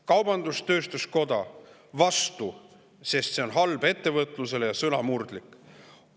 Kaubandus-tööstuskoda oli vastu, sest see on halb ettevõtlusele ja sõnamurdlik.